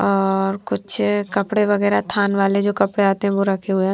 और कुछ कपड़े वगैरा थान वाले जो कपड़े आते है वो रखे हुए है।